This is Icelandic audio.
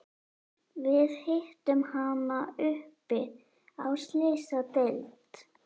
Við hittum hana uppi á Slysadeild.